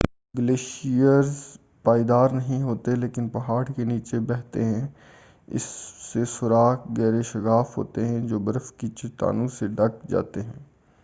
glaciers پائیدار نہیں ہوتے ہیں لیکن پہاڑ کے نیچے بہتے ہیں اس سے سوراخ گہرے شگاف ہوتے ہیں جو برف کی چٹانوں سے ڈھک جاتے ہیں